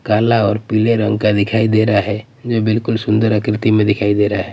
काला और पीले रंग का दिखाई दे रहा हैं जो बिल्कुल सुंदर आकृति में दिखाई दे रहा हैं।